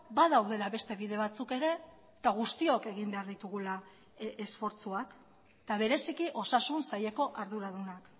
badaudela beste bide batzuk ere eta guztiok egin behar ditugula esfortzuak eta bereziki osasun saileko arduradunak